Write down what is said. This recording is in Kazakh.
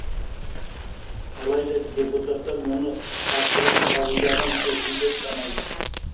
алайда депутаттар мұны асығыс қабылдаған шешім деп санайды